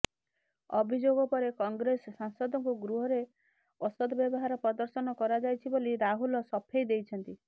ଅଭିଯୋଗ ପରେ କଂଗ୍ରେସ ସାଂସଦଙ୍କୁ ଗୃହରେ ଅସଦ ବ୍ୟବହାର ପ୍ରଦର୍ଶନ କରାଯାଇଛି ବୋଲି ରାହୁଲ ସଫେଇ ଦେଇଛନ୍ତି